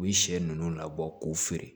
U ye sɛ ninnu labɔ k'u feere